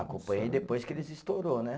Acompanhei depois que eles estourou, né?